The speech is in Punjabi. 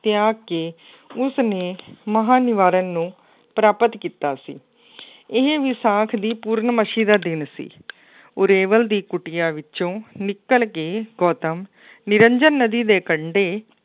ਤਿਆਗ ਕੇ ਉਸਨੇ ਮਹਾਂਨਿਵਾਰਣ ਨੂੰ ਪ੍ਰਾਪਤ ਕੀਤਾ ਸੀ। ਇਹ ਵਿਸਾਖ ਦੀ ਪੂਰਨਮਾਸੀ ਦਾ ਦਿਨ ਸੀ। ਉਰੇਵਲ ਦੀ ਕੁਟੀਆਂ ਵਿੱਚੋਂ ਨਿਕਲ ਕੇ ਗੌਤਮ ਨਿਰੰਜਨ ਨਦੀ ਕੰਢੇ